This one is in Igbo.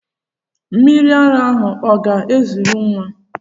Mmiri ara ahụ ọ ga-ezuru nwa?